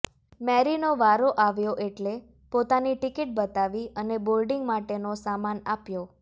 મેરીનો વારો આવ્યો એટલે પોતાની ટીકીટ બતાવી અને બોર્ડીંગ માટેનો સામાન આપ્યો